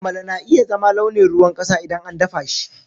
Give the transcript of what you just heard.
Amala na iya zama launin ruwan ƙasa idan an dafa shi.